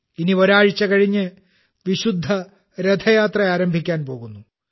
ഇനി ഒരാഴ്ച കഴിഞ്ഞ് വിശുദ്ധ രഥയാത്ര ആരംഭിക്കാൻ പോകുന്നു